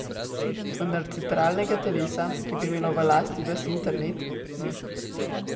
Vendar centralnega telesa, ki bi imelo v lasti ves internet, ni.